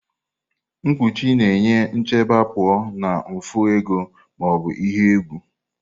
mkpuchi na-enye nchebe pụọ na mfu ego ma ọ bụ ihe egwu.